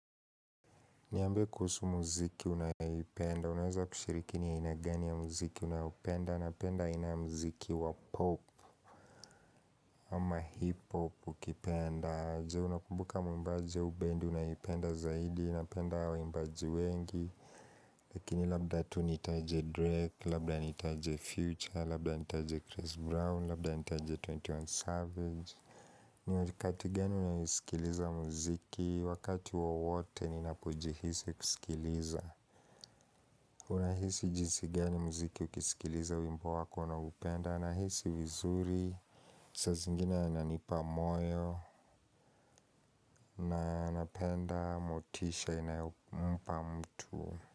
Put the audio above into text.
Niambie kuhusu muziki unayoipenda, unaweza kushiriki ni aina gani ya muziki unaoupenda, napenda aina ya muziki wa pop ama hip-hop ukipenda je unakumbuka muimbaji au bendi, unayoipenda zaidi, napenda waimbaji wengi Lakini labda tu nitaje Drake, labda nitaje Future, labda nitaje Chris Brown, labda nitaje 21 Savage ni watikati gani unasikiliza muziki, wakati wowote ninapojihisi kusikiliza Unahisi jinsi gani mziki ukisikiliza wimbo wako unaoupenda, nahisi vizuri, saa zingine inanipa moyo, na napenda motisha inayompa mtu.